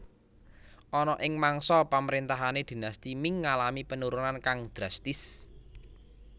Ana ing mangsa pamrentahane Dinasti Ming ngalami penurunan kang drastis